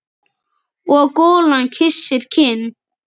Og golan kyssir kinn.